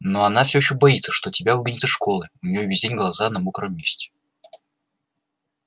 но она всё ещё боится что тебя выгонят из школы у неё весь день глаза на мокром месте